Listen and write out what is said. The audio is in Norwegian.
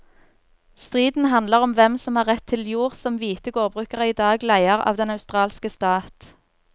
Striden handler om hvem som har rett til jord som hvite gårdbrukere i dag leier av den australske stat.